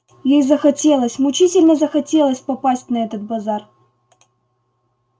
ей захотелось мучительно захотелось попасть на этот базар